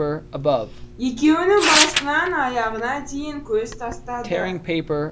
екеуінің басынан аяғына дейін көз тастады